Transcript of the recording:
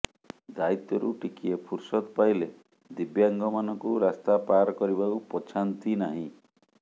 ଦାୟିତ୍ୱରୁ ଟିକିଏ ଫୁରସତ ପାଇଲେ ଦିବ୍ୟାଙ୍ଗମାନଙ୍କୁ ରାସ୍ତା ପାର କରିବାକୁ ପଛାନ୍ତି ନାହିଁ